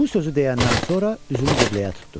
Bu sözü deyəndən sonra üzünü qibləyə tutdu.